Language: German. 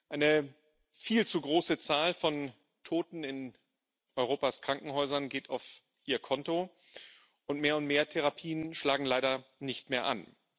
Eine viel zu große Zahl von Toten in Europas Krankenhäusern geht auf ihr Konto, und mehr und mehr Therapien schlagen leider nicht mehr an.